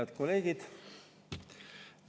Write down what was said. Head kolleegid!